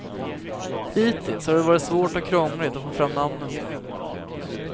Hittills har det varit svårt och krångligt att få fram namnen på dem.